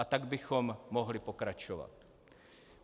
A tak bychom mohli pokračovat.